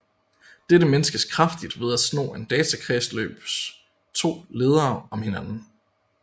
Dette minskes kraftigt ved at sno en datakredsløbs to ledere om hinanden